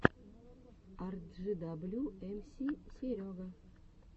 арджидаблю эмси серега